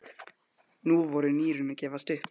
Nú voru nýrun að gefast upp.